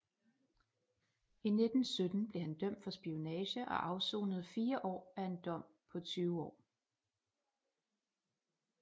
I 1917 blev han dømt for spionage og afsonede 4 år af en dom på 20 år